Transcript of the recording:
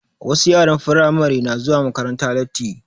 Wasu yaran Firamare na zuwa makaranta lati